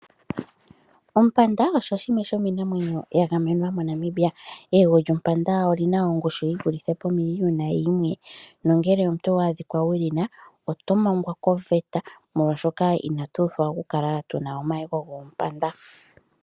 Ompanda osho shimwe shomiinamwenyo ya gamenwa moNamibia. Eyego lyompanda olina ongushu yivulithe pomiliyona yimwe, nongele omuntu owa adhika ulina, oto mangwa koveta molwaashoka inatu pitikwa okukala tuna omayego goompanda.